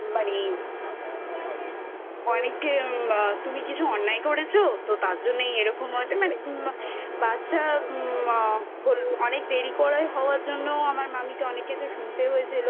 অনেকে মা তুমি কি কিছু অন্যায় করেছো তো তার জন্যেই এরকম হয়েছে মানে বাচ্ছা মা অনেক দেরি করে হওয়ার জন্যও আমার মামীকে অনেক কিছু শুনতে হয়েছিল